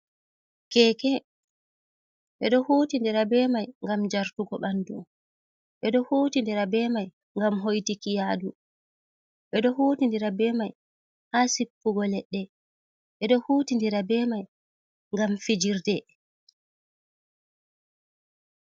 Keke ɓeɗo huti ndira be mai ngam jartugo ɓandu, ɓeɗo huti ndira be mai ngam hoitiki yaadu, ɓeɗo huti ndira be mai ha sippugo leɗɗe șhuti ndira be mai ngam fijirde. .